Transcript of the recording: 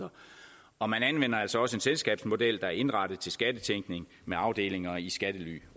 og man anvender altså også en selskabsmodel der er indrettet til skattetænkning med afdelinger i skattely